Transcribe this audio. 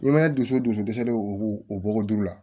I ma dusu dusu dɛsɛlen o b'o o bɔgɔ duuru la